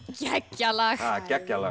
geggjað lag geggjað lag